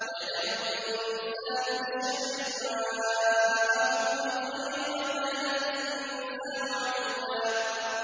وَيَدْعُ الْإِنسَانُ بِالشَّرِّ دُعَاءَهُ بِالْخَيْرِ ۖ وَكَانَ الْإِنسَانُ عَجُولًا